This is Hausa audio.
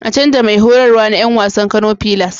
A canza Mai horarwa na Yan wasan Kano pilars